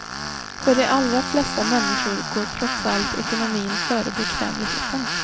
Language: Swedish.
För de allra flesta människor går trots allt ekonomin före bekvämligheten.